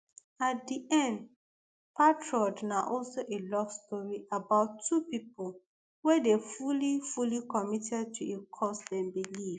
at di end patriot na also a love story about two pipo wey dey fully fully committed to a cause dem believe